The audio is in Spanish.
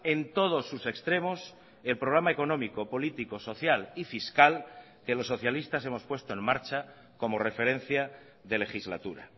en todos sus extremos el programa económico político social y fiscal que los socialistas hemos puesto en marcha como referencia de legislatura